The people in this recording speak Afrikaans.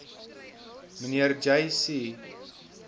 mnr j c